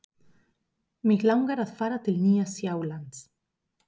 Mig langar að fara til Nýja-Sjálands.